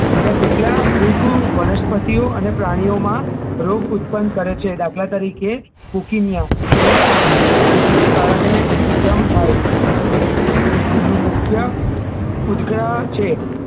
બીજા કેટલા ફુગ વનસ્પતિઓ અને પ્રાણીઓમાં રોગ ઉત્પન્ન કરે છે દાખલા તરીકે pokemia અને ફૂગના કારણે ઉદગમ થાય તેનો મુખ્ય ઉદગ્રહ છે